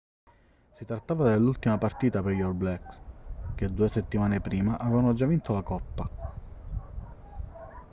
si trattava dell'ultima partita per gli all blacks che due settimane prima avevano già vinto la coppa